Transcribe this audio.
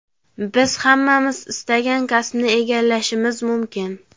biz hammamiz istagan kasbni egallashimiz mumkin.